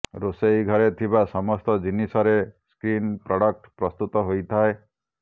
ରୋଷେଇ ଘରେ ଥିବା ସମସ୍ତ ଜିନିଷରେ ସ୍କିନ୍ ପ୍ରଡକ୍ଟ ପ୍ରସ୍ତୁତ ହୋଇଥାଏ